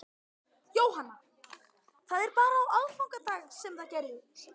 Jóhanna: Það er bara á aðfangadag sem það gerist?